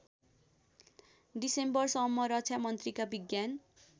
डिसेम्बरसम्म रक्षामन्त्रीका विज्ञान